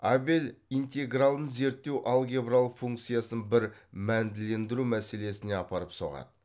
абел интегралын зерттеу алгебралық функциясын бір мәнділендіру мәселесіне апарып соғады